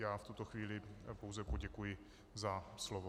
Já v tuto chvíli pouze poděkuji za slovo.